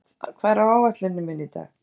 Reynarð, hvað er á áætluninni minni í dag?